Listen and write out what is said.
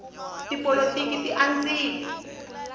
tipolotiki ti andzile